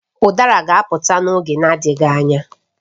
Udara ga-apụta n'oge na-adịghị anya